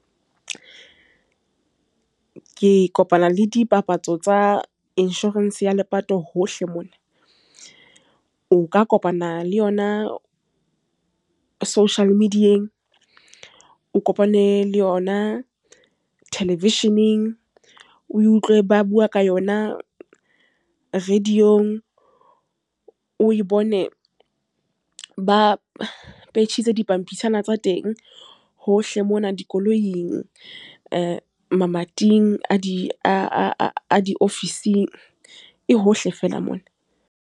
Ke kopana le dipapatso tsa insurance ya lepato hohle mona. O ka kopana le yona social media-eng, o kopane le yona television-eng, o utlwe ba bua ka yona radio-ng. O e bone ba petjhitse dipampitshana tsa teng hohle mona. Dikoloing, mamating a di-office-ng. E hohle fela mona.